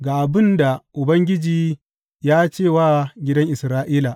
Ga abin da Ubangiji ya ce wa gidan Isra’ila.